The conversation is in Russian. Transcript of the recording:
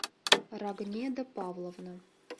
рогнеда павловна